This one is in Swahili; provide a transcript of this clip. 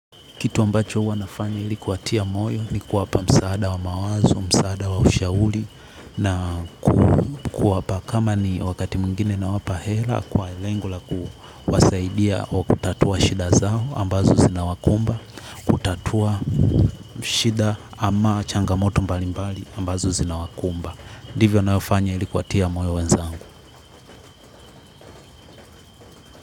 Kitu ambacho huwa nafanya ili kuwatia moyo ni kuwapa msaada wa mawazo, msaada wa ushauri na kuwapa kama ni wakati mwingine nawapa hela kwa lengo la kuwasaidia kwa kutatua shida zao ambazo zinawakumba kutatua shida ama changamoto mbalimbali ambazo zinawakumba ndivyo navyofanya ili kuwatia moyo wenzangu.